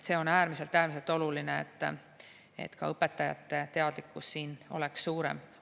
See on äärmiselt, äärmiselt oluline, et ka õpetajate teadlikkus oleks suurem.